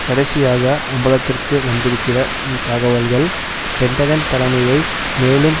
கடைசியாக அம்பலத்திற்கு வந்திருக்கிற தகவல்கள் பென்டகன் தலைமையை மேலும்